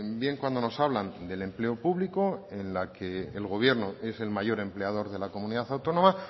bien cuando nos hablan del empleo público en la que el gobierno es el mayor empleador de la comunidad autónoma